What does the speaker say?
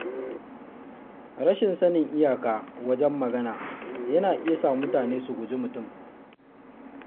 Rashin sanin iyaka wajen magana yana iya sa mutane su guji mutum.